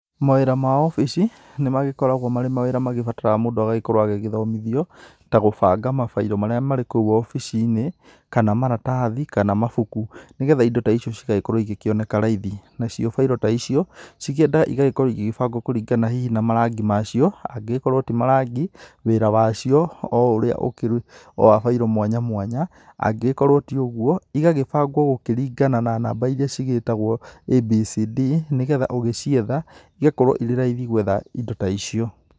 Mawĩra ma obici nĩ magĩkoragwo marĩ mawĩra mabataraga mũndũ agagĩkorwo agĩthomĩthio ta gũbanga mabairo marĩa marĩ kũu wabici-inĩ kana maratathi kana mabuku, nĩgetha indo ta icio cigagĩkorwo cikĩonekana raithi. Nacio bairo ta icio cikĩendaga igagĩkorwo igĩbangwo kũringana hihi na marangi macio, angĩgikorwo ti marangi, wĩra wacio o wa bairo mwanya mwanya, angĩgĩkorwo ti ũguo igagĩbangwo kũringana na namba irĩa cĩgĩtagwo A B C D, nĩgetha ũgĩcietha igakorwo ĩrĩ raithi gũetha indo ta icio.